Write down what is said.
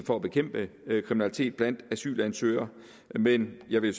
for at bekæmpe kriminalitet blandt asylansøgere men jeg vil